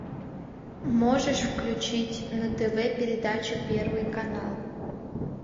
можешь включить на тв передачу первый канал